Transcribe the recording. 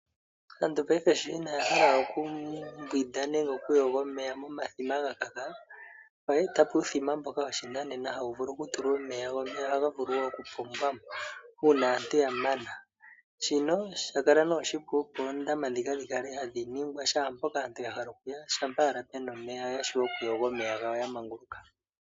Monena sho aantu inaya hala we okumbwinda, okuyoga momeya gomithima omolwa ekako lyago, oya eta po uuthima woshinanena, mboka hawu vulu okutulwa nokupombwa omeya.